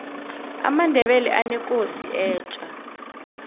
amandebele anekosi etja